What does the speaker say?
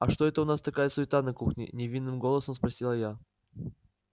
а что это у нас такая суета на кухне невинным голосом спросила я